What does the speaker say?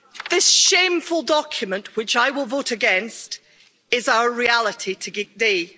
This shameful document, which I will vote against, is our reality today.